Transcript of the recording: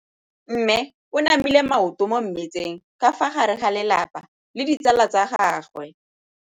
Mme o namile maoto mo mmetseng ka fa gare ga lelapa le ditsala tsa gagwe.